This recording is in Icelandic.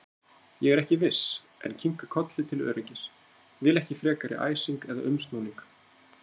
Ég er ekki viss, en kinka kolli til öryggis, vil ekki frekari æsing eða umsnúning.